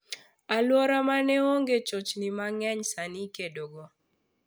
Aluora mane onge chochni mang'eny sani ikedogo.